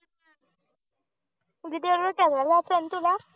आल दाखवण तुला